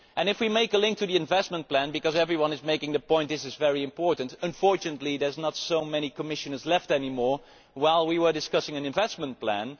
And if we make a link to the investment plan because everyone is making the point that this is very important unfortunately there are not so many Commissioners left any more, while we were discussing an investment plan.